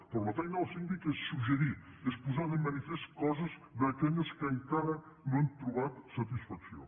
però la feina del síndic és suggerir és posar de manifest coses d’aquelles que encara no han trobat satisfacció